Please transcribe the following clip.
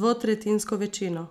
dvotretjinsko večino.